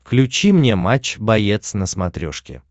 включи мне матч боец на смотрешке